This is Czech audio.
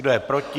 Kdo je proti?